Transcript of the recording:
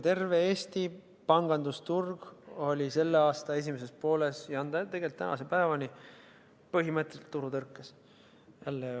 Terve Eesti pangandusturg oli selle aasta esimeses pooles, ja on tegelikult tänase päevani, põhimõtteliselt turutõrkes.